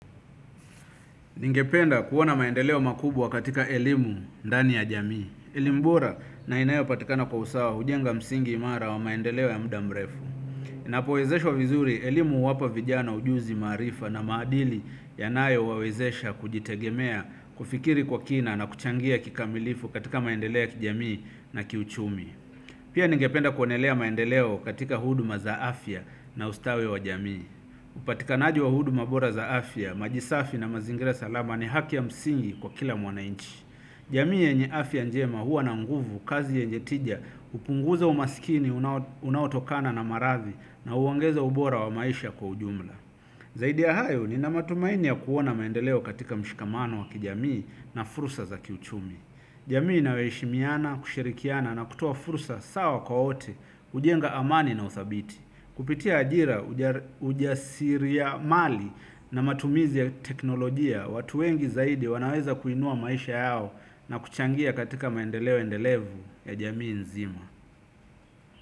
Ningependa kuona maendeleo makubwa katika elimu ndani ya jamii. Elimu bora na inayopatikana kwa usawa hujenga msingi imara wa maendeleo ya muda mrefu. Napowezeshwa vizuri elimu huwapa vijana ujuzi maarifa na maadili yanayowawezesha kujitegemea kufikiri kwa kina na kuchangia kikamilifu katika maendeleo ya kijamii na kiuchumi. Pia ningependa kuonelea maendeleo katika huduma za afya na ustawi wa jamii. Upatikanaji wa huduma bora za afya, maji safi na mazingira salama ni haki ya msingi kwa kila mwananchi jamii yenye afya njema huwa na nguvu kazi yenje tija hupunguza umasikini unaotokana na maradhi na huongeza ubora wa maisha kwa ujumla zaidi ya hayo nina matumaini ya kuona maendeleo katika mshikamano wa kijamii na fursa za kiuchumi jamii inayoheshimiana, kushirikiana na kutoa fursa sawa kwa wote hujenga amani na uthabiti kupitia ajira ujasiri ya mali na matumizi ya teknolojia, watu wengi zaidi wanaweza kuinua maisha yao na kuchangia katika maendeleo-endelevu ya jamii nzima.